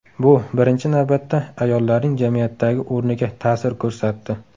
Bu, birinchi navbatda, ayollarning jamiyatdagi o‘rniga ta’sir ko‘rsatdi.